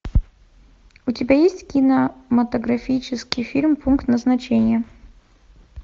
у тебя есть кинематографический фильм пункт назначения